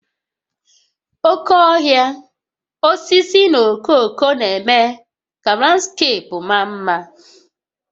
Oke ohia, osisi na okooko na-eme ka landskeepu maa mma